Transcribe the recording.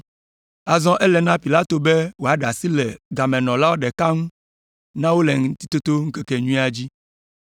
Azɔ ele na Pilato be wòaɖe asi le gamenɔla ɖeka ŋu na wo le Ŋutitoto ŋkekenyuia dzi.